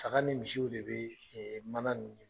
Saga ni misiw de bɛ mana nin